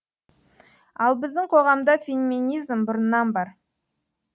ал біздің қоғамда феминизм бұрыннан бар